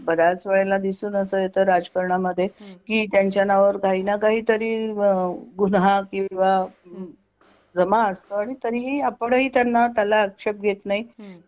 बऱ्याच वेळेला दिसून असं येत राजकारणा मध्ये की त्यांच्या नावावर काही ना काहीतरी गुन्हा किंवा जमा असता आणि तरीही आपणही त्यांना त्याला आक्षेप घेत नाही. हम्म